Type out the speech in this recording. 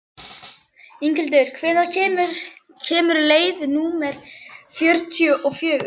Inghildur, hvenær kemur leið númer fjörutíu og fjögur?